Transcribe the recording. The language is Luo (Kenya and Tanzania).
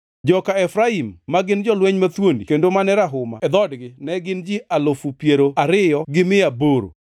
joka Efraim, ma gin jolweny mathuondi kendo mane rahuma e dhoodgi ne gin ji alufu piero ariyo gi mia aboro (20,800),